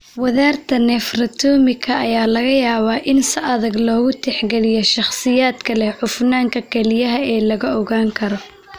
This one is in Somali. Wadarta nephrectomika ayaa laga yaabaa in si adag loogu tixgeliyo shakhsiyaadka leh cufnaanta kelyaha ee la ogaan karo.